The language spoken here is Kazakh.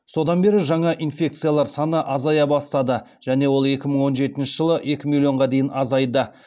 содан бері жаңа инфекциялар саны азая бастады және ол екі мың он жетінші жылы екі миллионға дейін азайды